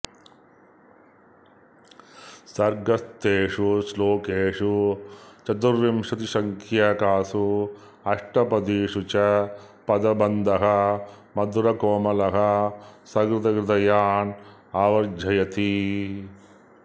सर्गस्थेषु श्लोकेषु चतुर्विंशतिसङ्ख्यकासु अष्टपदीषु च पदबन्धः मधुरकोमलः सहृदहृदयान् आवर्जयति